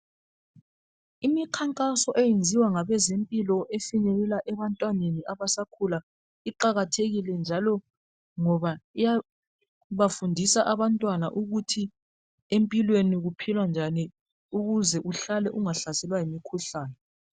Imikhankaso eyenziwa ngabezempilo ebantwaneni abasakhula iqakathekile ngoba iyabafundisa abantwana ukuthi empilweni kuphilwa njani ukuze uhlale ungahlaselwa yimikhuhlane.